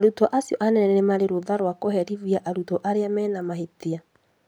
Arutwo acio anene nĩ marĩ rũtha rwa kũherithia arutwo arĩa mena mahĩtia